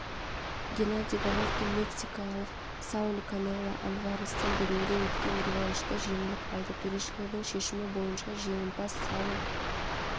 геннадий головкин мексикалық сауль канело альварестен бүгінгі өткен реваншта жеңіліп қалды төрешілердің шешімі бойынша жеңімпаз сауль